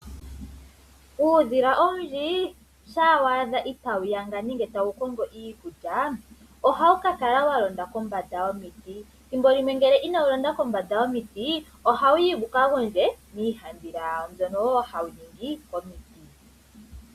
Uudhila owundji, shaa waadha itaawu yanga nenge tawu kongo iikulya, ohawu kakala walonda kombanda yomiti. Thimbo limwe ngele inawu londa kombanda yomiti, ohawuyi wuka gondje, miihandhila yawo mbyono wo hawu ningi komiti.